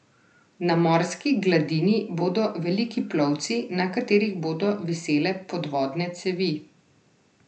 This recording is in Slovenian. Na morski gladini bodo veliki plovci, na katerih bodo visele podvodne cevi.